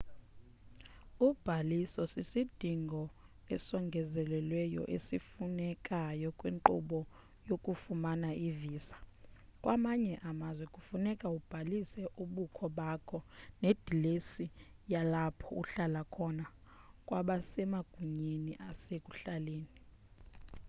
ubhaliso sisidingo esongezelelweyo esifunekayo kwinkqubo yokufumana ivisa kwamanye amazwe funeka ubhalise ubukho bakho nedilesi yalapho uhlala khona kwabasemagunyeni asekuhlaleni